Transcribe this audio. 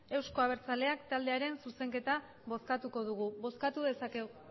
euzko abertzaleak taldearen zuzenketa bozkatuko dugu bozkatu dezakegu